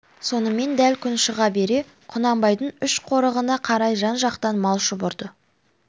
сонымен дәл күн шыға бере құнанбайдың үш қорығына қарай жан-жақтан мал шұбырды